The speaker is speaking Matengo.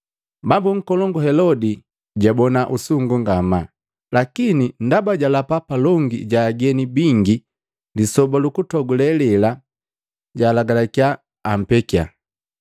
Bambu nkolongu Helodi jabona usungu ngamaa, lakini ndaba jalapa palongi ja ageni bingi lisoba lukutogule lela, jalagalakiya ampekiya.